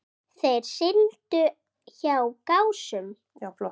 Þeir sigldu hjá Gásum.